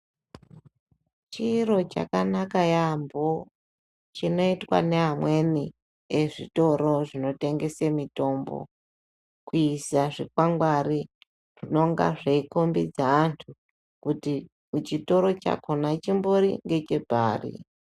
Chiro chakanaka yaambo chinoitwa neamweni ezvitoro zvinotengese mitombo kuise zvikwangwari zvinonga zveikombidza vanthu kuti kuchitoro chakona chimbori ngechepari.